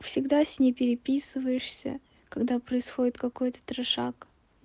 всегда с ней переписываешься когда происходит какой-то трешак